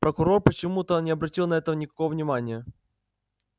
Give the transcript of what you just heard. прокурор почему-то не обратил на это никакого внимания